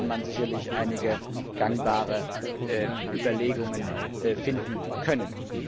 Da hätte man sicherlich einige gangbare Überlegungen finden können.